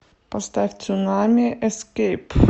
поставь цунами эскейп